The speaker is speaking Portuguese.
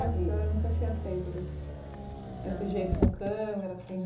A senhora nunca tinha feito desse desse jeito com câmera, assim?